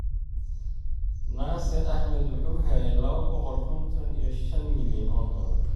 Nasir Ahmedvwuxuu helay laba boqol konton iyo shaan milyan o dolar.